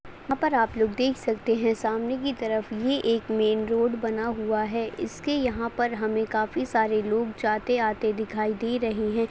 यहाँ पर आप लोग देख सकते है सामने की तरफ ये एक मेन रोड बना हुआ है इसके यहाँ पर हमें काफी सारे लोग जाते आते दिखाई दे रहें हैं।